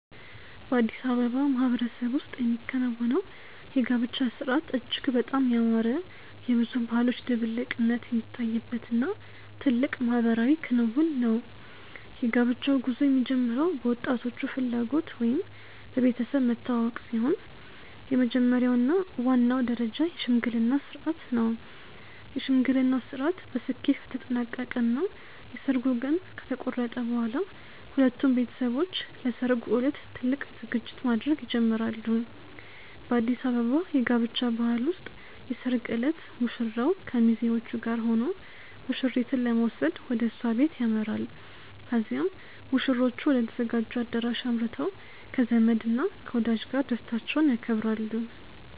በአዲስ አበባ ማህበረሰብ ውስጥ የሚከናወነው የጋብቻ ሥርዓት እጅግ በጣም ያማረ፣ የብዙ ባህሎች ድብልቅነት የሚታይበት እና ትልቅ ማህበራዊ ክንውን ነው። የጋብቻው ጉዞ የሚጀምረው በወጣቶቹ ፍላጎት ወይም በቤተሰብ መተዋወቅ ሲሆን፣ የመጀመሪያው እና ዋናው ደረጃ የሽምግልና ሥርዓት ነው። የሽምግልናው ሥርዓት በስኬት ከተጠናቀቀ እና የሰርጉ ቀን ከተቆረጠ በኋላ፣ ሁለቱም ቤተሰቦች ለሠርጉ ዕለት ትልቅ ዝግጅት ማድረግ ይጀምራሉ። በአዲስ አበባ የጋብቻ ባህል ውስጥ የሰርግ ዕለት ሙሽራው ከሚዜዎቹ ጋር ሆኖ ሙሽሪትን ለመውሰድ ወደ እሷ ቤት ያመራል። ከዚያም ሙሽሮቹ ወደ ተዘጋጀው አዳራሽ አምርተው ከዘመድ እና ከወዳጅ ጋር ደስታቸውን ያከብራሉ።